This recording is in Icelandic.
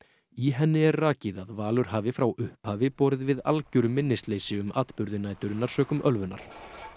í henni er rakið að Valur hafi frá upphafi borið við algjöru minnisleysi um atburði næturinnar sökum ölvunar